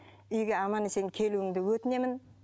үйге аман есен келуіңді өтінемін